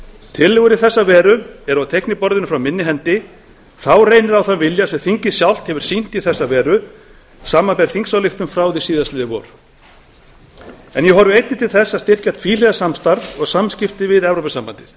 tillögur í þessa veru eru á teikniborðinu frá minni hendi þá reynir á þann vilja sem þingið sjálft hefur sýnt í þessa veru samanber þingsályktun frá fyrra vori en ég horfi einnig til þess að styrkja tvíhliða samstarf og samskipti við evrópusambandið